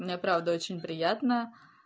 мне правда очень приятно